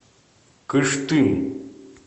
кыштым